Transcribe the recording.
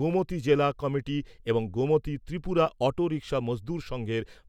গোমতী জেলা কমিটি এবং Gomati Tripura auto rickshaw Mazdoor সঙ্ঘের।